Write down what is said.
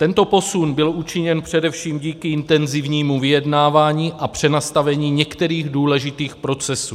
Tento posun byl učiněn především díky intenzivnímu vyjednávání a přenastavení některých důležitých procesů.